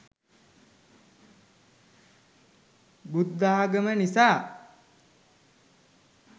බුද්ධාගම නිසා.